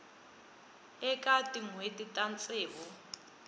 eka tin hweti ta ntsevu